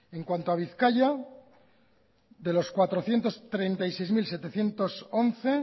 en cuanto a bizkaia de las cuatrocientos treinta y seis mil setecientos once